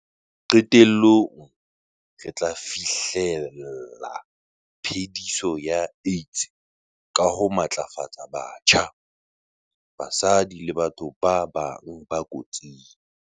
Qetellong, re tla fi hlella phe-diso ya AIDS ka ho matlafatsa batjha, basadi le batho ba bang ba kotsing.